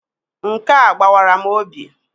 Nkea gbawara m obi.